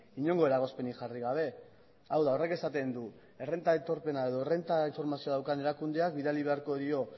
inongo eragozpenik jarri gabe hau da horrek esaten du errenta aitorpena edo errenta informazioa daukan erakundeak bidali beharko dio